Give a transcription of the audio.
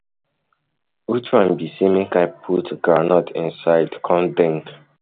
Which one be say make I put um groundnut um inside come um drink.